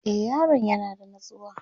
e Yaron yana da natsuwa